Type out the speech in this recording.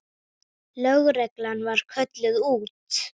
Lögreglan var kölluð út.